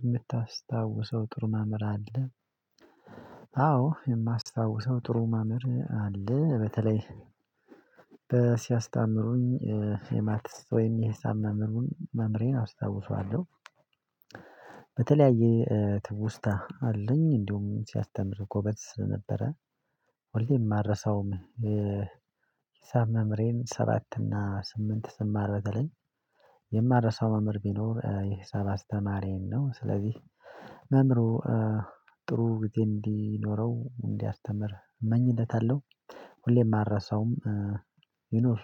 የምታስታውሰው ጥሩ መምህር አለ? አዎ የማስታውሰው ጥሩ መምህር አለ በተለይ ሲያስታምሩኝ የማትስ ወይም የሂሳብ መምህርን መምህሬን አስታውሰዋለሁ በተለያየ ትውስታ አለኝ እንዲሁም ሲያስተምር ጎበዝ ስለነበረ ሁሌም አልረሳውም ነበረ። ሂሳብ መምህሬን ሰባት እና ስምንት ስማር በተለይ የማረሳው መምህር ቢኖር የሂሳብ አስተማሪዬን ነው ስለዚህ መምህሩ ጥሩ ጊዜ እንዲኖረው እንዲያስተምር እመኝለታለሁ ሁሌም አልረሳውም ይኑር